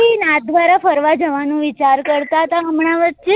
શ્રી નાથદ્વારા ફરવા જવા નું વિચાર કરતા હતા હમણાં વચ્ચે